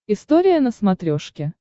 история на смотрешке